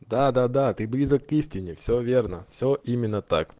да да да ты близок к истине все верно все именно так